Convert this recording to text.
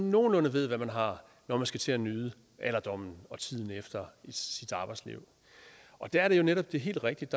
nogenlunde ved hvad man har når man skal til at nyde alderdommen og tiden efter sit arbejdsliv og der er det jo netop helt rigtigt